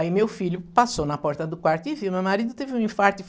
Aí meu filho passou na porta do quarto e viu meu marido, teve um infarto.